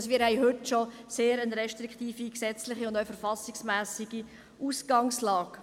Wir haben bereits heute eine sehr restriktive gesetzliche und auch verfassungsmässige Ausgangslage.